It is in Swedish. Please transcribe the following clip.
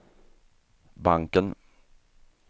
banken